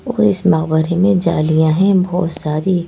और इस जालियां है बहोत सारी--